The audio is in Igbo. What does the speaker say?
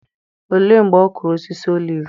Olee mgbe ọ kụrụ osisi oliv?